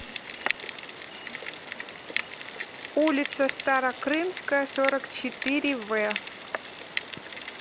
улица старокрымская сорок четыре в